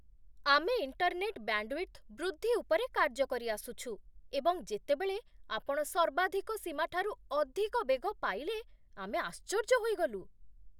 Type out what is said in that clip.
ଆମେ internet bandwidth ବୃଦ୍ଧି ଉପରେ କାର୍ଯ୍ୟ କରିଆସୁଛୁ, ଏବଂ ଯେତେବେଳେ ଆପଣ ସର୍ବାଧିକ ସୀମାଠାରୁ ଅଧିକ ବେଗ ପାଇଲେ ଆମେ ଆଶ୍ଚର୍ଯ୍ୟ ହୋଇଗଲୁ!